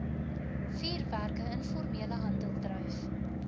vuurwerke informele handeldryf